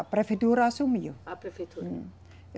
A prefeitura assumiu. A prefeitura. Uhum.